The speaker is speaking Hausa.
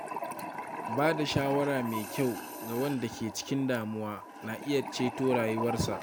Ba da shawara mai kyau ga wanda ke cikin damuwa na iya ceton rayuwarsa.